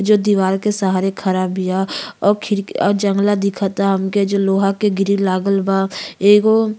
जो दीवाल के सहारे खड़ा बिया औ खिड़की अ जंगला दिखता हमके जो लोहा के ग्रिल लागल बा। एगो --